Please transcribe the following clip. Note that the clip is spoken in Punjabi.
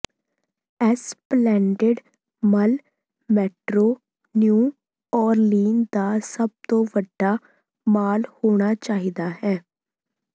ਐਸਪਲੈਨਡੇਡ ਮੱਲ ਮੈਟਰੋ ਨਿਊ ਓਰਲੀਨ ਦਾ ਸਭ ਤੋਂ ਵੱਡਾ ਮਾਲ ਹੋਣਾ ਚਾਹੀਦਾ ਹੈ